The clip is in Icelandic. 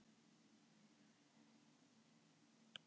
Sjá myndskeið hér